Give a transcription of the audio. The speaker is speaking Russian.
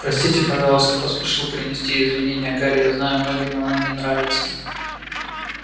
простите пожалуйста поспешил принести извинение гарри я знаю многим оно не нравится